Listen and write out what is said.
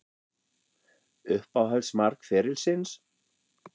Uppáhalds mark ferilsins?